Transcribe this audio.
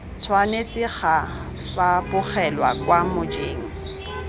tshwanetse ga fapogelwa kwa mojeng